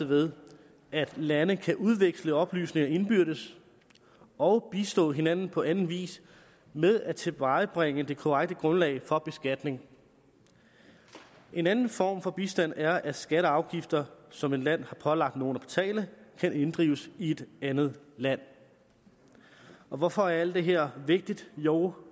ved at lande kan udveksle oplysninger indbyrdes og bistå hinanden på anden vis med at tilvejebringe det korrekte grundlag for beskatning en anden form for bistand er at skatter og afgifter som et land har pålagt nogle at betale kan inddrives i et andet land hvorfor er alt det her vigtigt jo